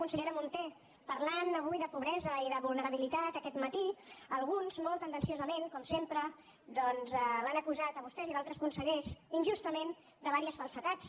consellera munté parlant avui de pobresa i de vulnerabilitat aquest matí alguns molt tendenciosament com sempre doncs l’han acusat a vostè i a altres consellers injustament de diverses falsedats